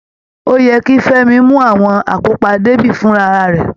Ó yẹ kí Femi mú àwọn akópa débí fúnra rẹ̀